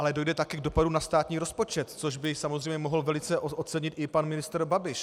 Ale dojde také k dopadu na státní rozpočet, což by samozřejmě mohl velice ocenit i pan ministr Babiš.